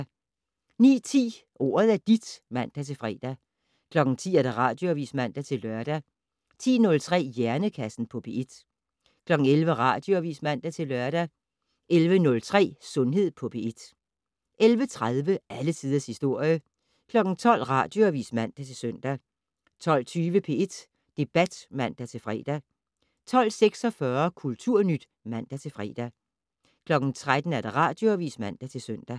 09:10: Ordet er dit (man-fre) 10:00: Radioavis (man-lør) 10:03: Hjernekassen på P1 11:00: Radioavis (man-lør) 11:03: Sundhed på P1 11:30: Alle tiders historie 12:00: Radioavis (man-søn) 12:20: P1 Debat (man-fre) 12:46: Kulturnyt (man-fre) 13:00: Radioavis (man-søn)